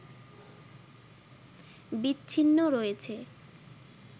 বিচ্ছিন্ন রয়েছে